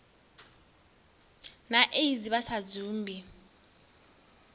na aids vha sa dzumbi